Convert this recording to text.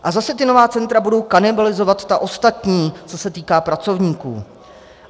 A zase ta nová centra budou kanibalizovat ta ostatní, co se týká pracovníků.